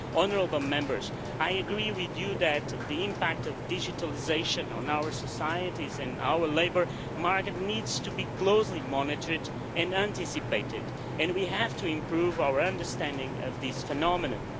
Honourable Members, I agree with you that the impact of digitalisation on our societies and our labour market needs to be closely monitored and anticipated, and we have to improve our understanding of this phenomenon.